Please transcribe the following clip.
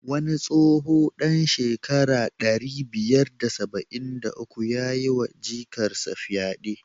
Wani tsoho dan shekara ɗari biyar da saba'in da uku yayi wa jikarsa fyade.